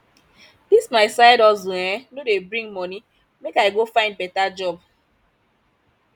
dis my side hustle um no dey bring moni make i go find beta job